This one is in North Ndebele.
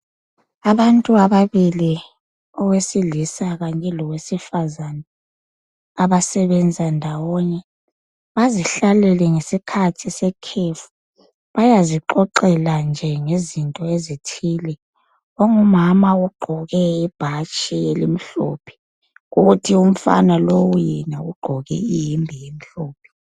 Abantu ababili , owesilisa kanye lowesifazani abasebenza ndawonye .Bazihlalele ngesikhathi sekhefu bayazixoxela nje ngezinto ezithile. Ongumama ugqoke ibhatshi elimhlophe, kuthi umfana lowu yena ugqoke ihembe emhlophe.